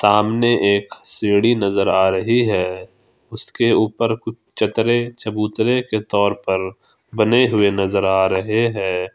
आमने एक सीढ़ी नजर आ रही है उसके ऊपर कु चतरे चबूतरे के तौर पर बने हुए नजर आ रहे हैं।